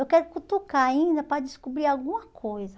Eu quero cutucar ainda para descobrir alguma coisa.